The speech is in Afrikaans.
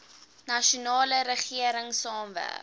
nasionale regering saamwerk